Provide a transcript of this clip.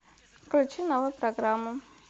включи новую программу